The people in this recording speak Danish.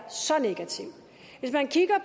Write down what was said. så negativ hvis man kigger